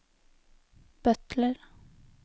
butler